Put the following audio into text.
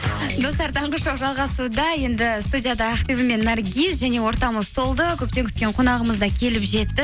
достар таңғы шоу жалғасуда енді студияда ақбибі мен наргиз және ортамыз толды көптен күткен қонағымыз да келіп жетті